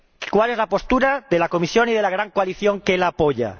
¿Cuál es la postura de la Comisión y de la gran coalición que la apoya?